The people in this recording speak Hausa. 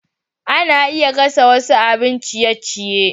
Ana iya gasa wasu abin ciye-ciye.